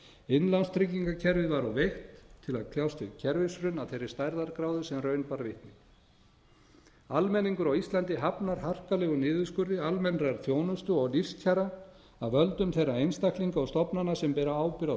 innlánstryggingakerfið var of veikt til að kljást við kerfishrun af þeirri stærðargráðu sem raun bar vitni almenningur á íslandi hafnar harkalegum niðurskurði almennrar þjónustu og lífskjara af völdum þeirra einstaklinga og stofnana sem bera ábyrgð á